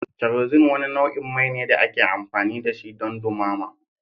Kerosene wani nau'in mai ne da ake amfani da shi don dumama.